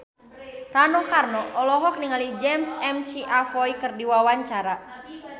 Rano Karno olohok ningali James McAvoy keur diwawancara